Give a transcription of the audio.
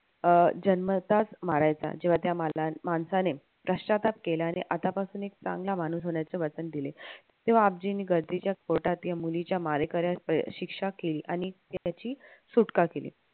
अं जन्मताच मारायचा. तेव्हा त्या माणसाने पश्चाताप केला आणि आत्तापासून एक चांगला माणूस होण्याचे वचन दिले. तेव्हा आबजीनी या मुलीच्या मारेकरास शिक्षा केली आणि त्याची सुटका केली.